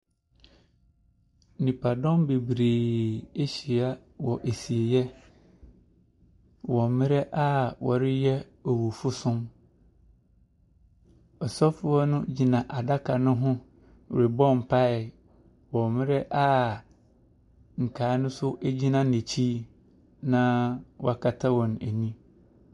Nnipadum bebree ahyia wɔ asieɛ wɔ mmerɛ a wɔreyɛ awufosom. Ɔsofo no gyina adaka ne ho rebɔ mpaeɛ wɔ mmerɛ a nkaa ne nso gyina n’akyi na wɔakata wɔn ani.